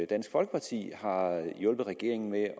dansk folkeparti har hjulpet regeringen med at